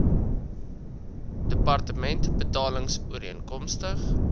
departement betaling ooreenkomstig